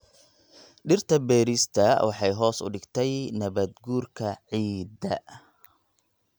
Dhirta beerista waxay hoos u dhigtay nabaad-guurka ciidda.